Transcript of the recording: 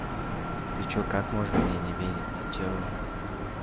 ты что как можно мне не верить ты что